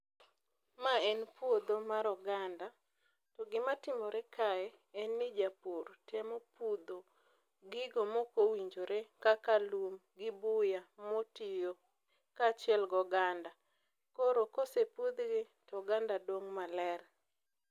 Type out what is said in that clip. Ma en puodho mar oganda, to gima timore kae, en ni japur temo pudho gigo mok owinjore kaka lum, gi buya motiyo, kachiel goganda. Koro kosepudhgi, to oganda dong' maler